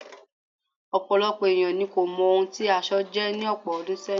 Ọ̀pọ̀lọpọ̀ ènìyàn ni kò mọ ohun tí aṣọ jẹ́ ní ọ̀pọ̀ ọdún sẹ́yìn.